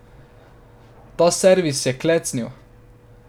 Ta servis je klecnil.